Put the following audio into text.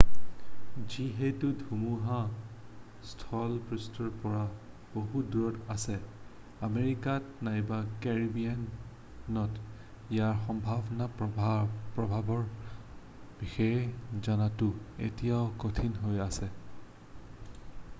যিহেতু ধুমুহা স্থলপৃষ্ঠৰ পৰা বহু দূৰত আছে আমেৰিকাত নাইবা কেৰিবিয়ানত ইয়াৰ সম্ভাব্য প্ৰভাৱৰ বিষয়ে জনাটো এতিয়াও কঠিন হৈ আছে